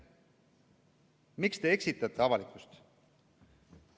Miks te eksitate avalikkust?